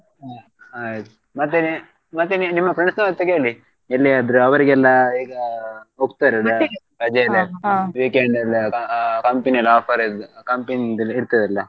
ಹ್ಮ್ ಹಾ ಮತ್ತೆ ನಿ~ ಮತ್ತೆ ನಿ~ ನಿಮ್ಮ friends ನವರತ್ರ ಕೇಳಿ ಎಲ್ಲಿಯಾದ್ರೆ ಅವರಿಗೆಲ್ಲಾ ಈಗ ರಜೆ weekend ಎಲ್ಲ ಅ company ಯಲ್ಲಿ offer ಇದ್ company ಇರ್ತದಲ್ಲ.